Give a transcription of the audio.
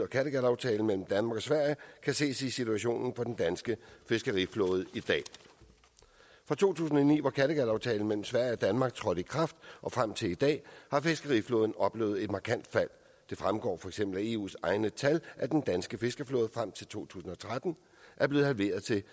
kattegataftalen mellem danmark og sverige kan ses i situationen for den danske fiskeriflåde i dag fra to tusind og ni var kattegataftalen mellem sverige og danmark trådt i kraft og frem til i dag har fiskeriflåden oplevet et markant fald det fremgår for eksempel af eus egne tal at den danske fiskeflåde frem til to tusind og tretten er blevet halveret til